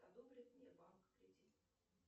одобрит мне банк кредит